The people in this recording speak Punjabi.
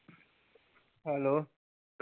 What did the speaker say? ਹੈਲੋ।